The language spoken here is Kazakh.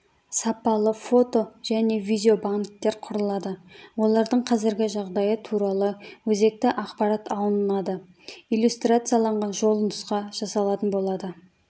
сапалы фото-және видеобанктер құрылады олардың қазіргі жағдайы туралы өзекті ақпарат алынады иллюстрацияланған жолнұсқа жасалатын болады